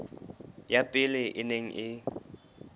ya pele e neng e